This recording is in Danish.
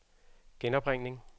genopringning